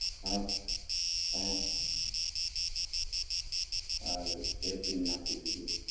બરાબર! હ હા એ ભી નાખી દીધું